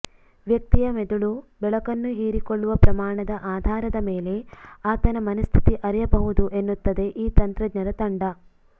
ವ್ಯಕ್ತಿಯ ಮೆದುಳು ಬೆಳಕನ್ನು ಹೀರಿಕೊಳ್ಳುವ ಪ್ರಮಾಣದ ಆಧಾರದ ಮೇಲೆ ಆತನ ಮನಸ್ಥಿತಿ ಅರಿಯಬಹುದು ಎನ್ನುತ್ತದೆ ಈ ತಂತ್ರಜ್ಞರ ತಂಡ